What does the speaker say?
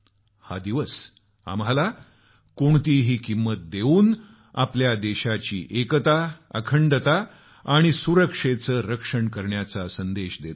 हा दिवस आम्हाला कोणतीही किंमत देऊन आपल्या देशाची एकता अखंडता आणि सुरक्षेचे रक्षण करण्याचा संदेश देतो